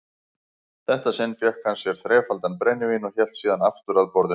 þetta sinn fékk hann sér þrefaldan brennivín og hélt síðan aftur að borðinu.